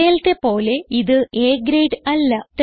നേരത്തേലത്തെ പോലെ ഇത് A grade അല്ല